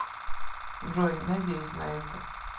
джой надеюсь на это